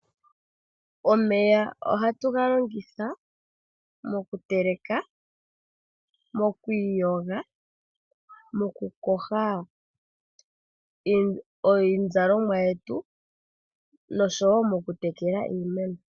Omeya ohatu ga longitha mokuteleka, mokwi iyoga, mokukoha iizalomwa yetu noshowo mokutekele iimeno.